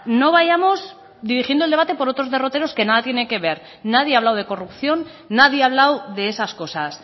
no vayamos dirigiendo el debate por otros derroteros que nada tienen que ve nadie ha hablado de corrupción nadie ha hablado de esas cosas